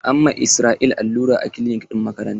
An ma Israel allura a kilinik ɗin makaranta.